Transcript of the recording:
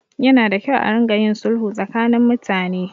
Yana da kyau a ringa yin sulhu tsakanin mutane.